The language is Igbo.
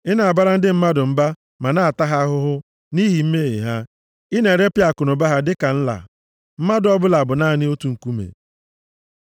Ị na-abara ndị mmadụ mba ma na-ata ha ahụhụ nʼihi mmehie ha; ị na-eripịa akụnụba ha dịka nla, mmadụ ọbụla bụ naanị otu nkuume. Sela